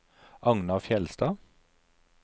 Agnar Fjellstad